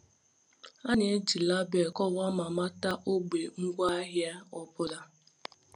A na-eji label kọwaa ma mata ogbe ngwaahịa ọ bụla.